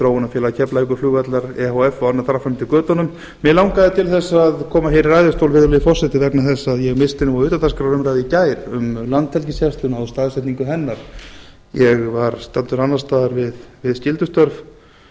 þróunarfélag keflavíkurflugvallar efh og annað þar fram eftir götunum mig langaði til þess að koma hér í ræðustól virðulegi forseti vegna þess að ég missti nú af utandagskrárumræðu í gær um landhelgisgæsluna og staðsetningu hennar ég var staddur annars staðar við skyldustörf